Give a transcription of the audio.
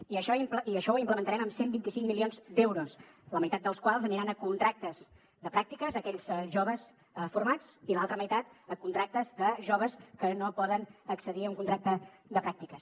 i això ho implementarem amb cent i vint cinc milions d’euros la meitat dels quals aniran a contractes de pràctiques a aquells joves formats i l’altra meitat a contractes de joves que no poden accedir a un contracte de pràctiques